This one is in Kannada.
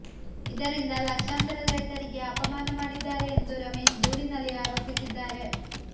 ಇದರಿಂದ ಲಕ್ಷಾಂತರ ರೈತರಿಗೆ ಅಪಮಾನ ಮಾಡಿದ್ದಾರೆ ಎಂದು ರಮೇಶ್ ದೂರಿನಲ್ಲಿ ಆರೋಪಿಸಿದ್ದಾರೆ